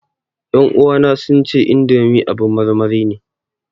Ƴan uwana sun ce indomi abin marmari ne